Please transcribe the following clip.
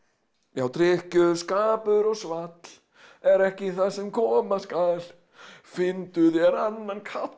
já drykkjuskapur og svall er ekki það sem koma skal finndu þér annan kall